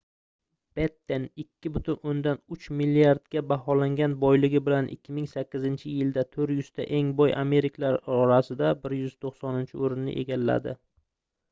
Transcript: betten 2,3 milliardga baholangan boyligi bilan 2008 yilda 400 ta eng boy amerikaliklar orasida 190-oʻrinni egalladi